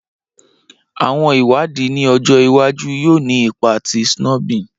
Awọn iwadii ni ọjọ iwaju yoo ni ipa ti snubbing